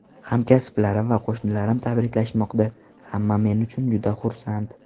Hamkasblarim va qo‘shnilarim tabriklashmoqda, hamma men uchun juda xursand”.